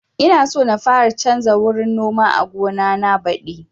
Ina so na fara canza wurin noma a gona na badi